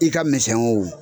I ka misɛn o